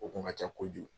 O kun ka ca kojugu